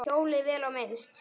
Hjólið, vel á minnst.